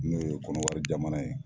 N'o ye kɔnɔwari jamana ye.